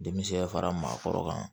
Denmisɛn fara maakɔrɔ kan